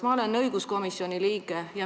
Ma olen õiguskomisjoni liige.